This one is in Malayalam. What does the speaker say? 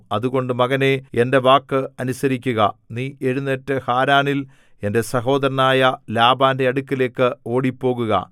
അതുകൊണ്ട് മകനേ എന്റെ വാക്ക് അനുസരിക്കുക നീ എഴുന്നേറ്റു ഹാരാനിൽ എന്റെ സഹോദരനായ ലാബാന്റെ അടുക്കലേക്ക് ഓടിപ്പോകുക